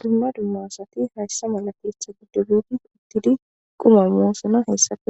Dumma dumma asati haysa mala keeththan shiiqidi quma moosona haysappe